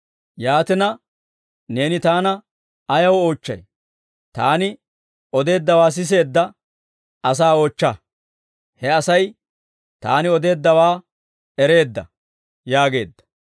Yaatina, neeni Taana ayaw oochchay? Taani odeeddawaa siseedda asaa oochcha; he Asay Taani odeeddawaa ereedda» yaageedda.